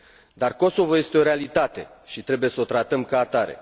Dar Kosovo este o realitate și trebuie să o tratăm ca atare.